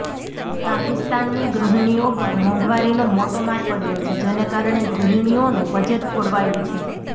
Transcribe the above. પાકિસ્તાનની ગૃહિણીઓ પર મોંઘવારીનો મોટો માર પડ્યો છે જેને કારણે ગૃહિણીઓનું બજેટ ખોળવાયું છે